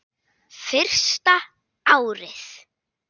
Fyrsta árið.